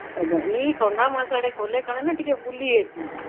ଆଂଜ୍ଞା ଏଇ ଥଣ୍ଡା ମାସ ରେ ଗଲେ କଣ କି ଟିକେ ବୁଲି ହେଇସେ